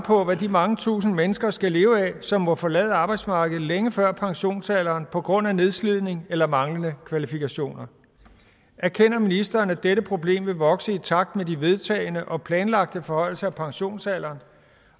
på hvad de mange tusinde mennesker skal leve af som må forlade arbejdsmarkedet længe før pensionsalderen på grund af nedslidning eller manglende kvalifikationer og erkender ministeren at dette problem vil vokse i takt med de vedtagne og planlagte forhøjelser af pensionsalderen